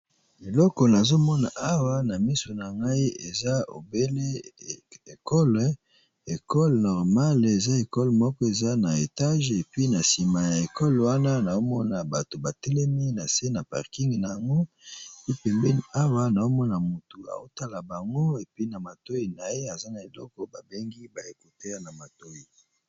Eloko nazomona awa na miso na ngai eza obele ekole ekole normale eza ekole moko eza na etage epi na nsima ya ekole wana naomona bato batelemi na se na parking na yango ipembeni awa naomona motu aotala bango epi na matoi na ye aza na eloko babengi baekutea na matoyi.